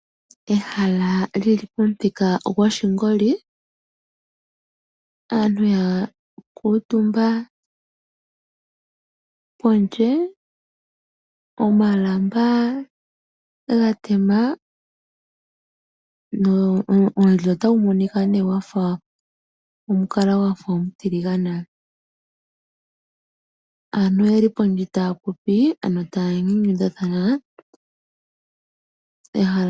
Ehala lyi li pomuthika gwoshingoli, aantu ya kuutumba pondje, omalamba ga tema ge li molwaala olutiligane, aantu oye li pondje taya popi ano taya nyanyudhathana.